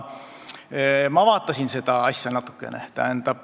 Ma vaatasin seda asja natukene.